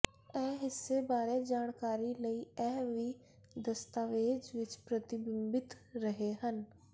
ਇਹ ਹਿੱਸੇ ਬਾਰੇ ਜਾਣਕਾਰੀ ਲਈ ਇਹ ਵੀ ਦਸਤਾਵੇਜ਼ ਵਿੱਚ ਪ੍ਰਤੀਬਿੰਬਿਤ ਰਹੇ ਹਨ